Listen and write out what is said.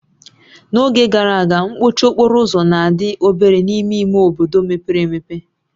N'oge gara aga, mkpọchi okporo ụzọ na-adị obere n'ime ime obodo mepere emepe